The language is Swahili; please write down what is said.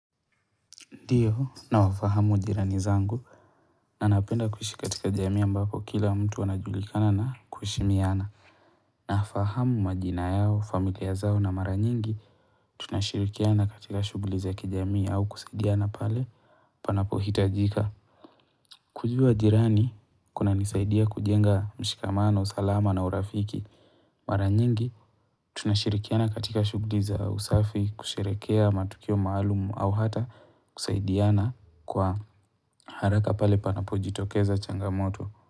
Ndio, nawafahamu jirani zangu na napenda kuishi katika jamii ambako kila mtu wanajulikana na kuheshimiana. Nafahamu majina yao, familia zao na mara nyingi, tunashirikiana katika shughuli za kijamii au kusaidiana pale panapohitajika. Kujua jirani, kunanisaidia kujenga mshikamano, salama na urafiki. Mara nyingi, tunashirikiana katika shugdi za usafi, kusherehekea matukio maalumu au hata kusaidiana kwa haraka pale panapojitokeza changamoto.